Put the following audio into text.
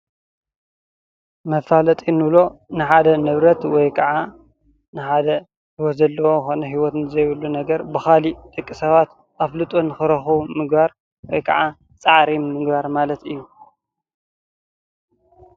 መፋለጢ እንብሎ ንሓደ ንብረት ወይ ከዓ ንሓደ ሂወት ዘለዎ ኾነ ሂወት ዘይብሉ ነገር ብካሊእ ደቂ ሰባት ኣፍልጦ ንኽረኽቡ ምግባር ወይ ከዓ ፃዕሪ ምግባር ማለት እዩ።